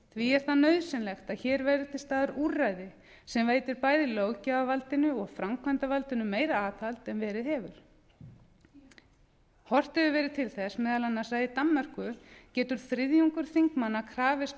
því er nauðsynlegt að hér verði til staðar úrræði sem veitir bæði löggjafarvaldinu og framkvæmdarvaldinu meira aðhald en verið hefur horft hefur verið til þess meðal annars að í danmörku getur þriðjungur þingmanna krafist